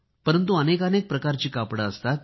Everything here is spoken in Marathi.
परंतु अनेकानेक प्रकारचे कापड असते